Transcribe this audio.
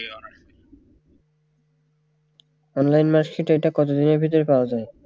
online mark sheet ওইটা কত দিনের ভিতর পাওয়া যায়